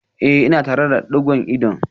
Eh ina tare da digon ido